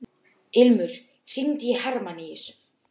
Ilmur, hringdu í Hermanníus.